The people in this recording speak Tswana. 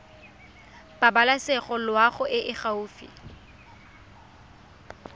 pabalesego loago e e gaufi